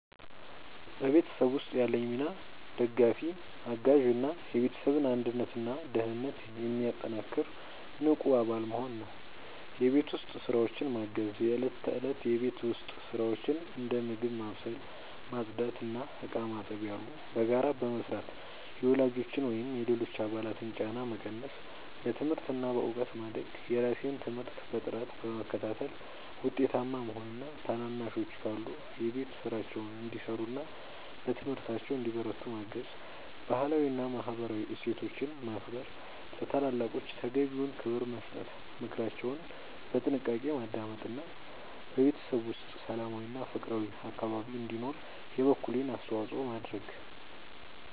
በቤተሰብ ውስጥ ያለኝ ሚና ደጋፊ፣ አጋዥ እና የቤተሰብን አንድነትና ደህንነት የሚያጠናክር ንቁ አባል መሆን ነው። የቤት ውስጥ ስራዎችን ማገዝ፦ የእለት ተእለት የቤት ውስጥ ስራዎችን (እንደ ምግብ ማብሰል፣ ማጽዳት እና ዕቃ ማጠብ ያሉ) በጋራ በመስራት የወላጆችን ወይም የሌሎች አባላትን ጫና መቀነስ። በትምህርት እና በእውቀት ማደግ፦ የራሴን ትምህርት በጥራት በመከታተል ውጤታማ መሆን እና ታናናሾች ካሉ የቤት ስራቸውን እንዲሰሩና በትምህርታቸው እንዲበረቱ ማገዝ። ባህላዊ እና ማህበራዊ እሴቶችን ማክበር፦ ለታላላቆች ተገቢውን ክብር መስጠት፣ ምክራቸውን በጥንቃቄ ማዳመጥ እና በቤተሰብ ውስጥ ሰላማዊና ፍቅራዊ አካባቢ እንዲኖር የበኩሌን አስተዋጽኦ ማድረግ።